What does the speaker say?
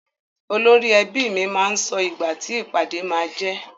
Olórí ẹbi mi máa sọ ìgbà ti ìpàdé máá jẹ́.